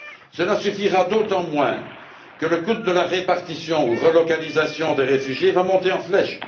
Cela suffira d'autant moins que le coût de la répartition ou de la relocalisation des réfugiés va monter en flèche.